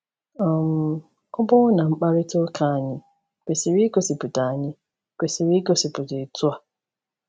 um Ọbụna mkparịta ụka anyị kwesịrị igosipụta anyị kwesịrị igosipụta otu a.